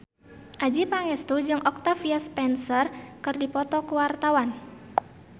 Adjie Pangestu jeung Octavia Spencer keur dipoto ku wartawan